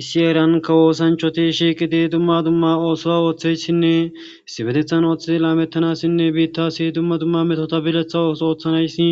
Issi heeran kawo oosanchchathi shiiqidi dumma dumma oosuwaa ooththishinne issippetheththan ooththidi laameththanaassinne biiththaassi dumma dumma methotha bileththa oosuwa ooththanayssi